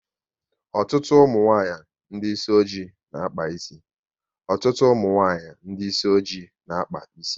Ọtụtụ ụmụnwanyị ndị isi ọjị na akpa ịsị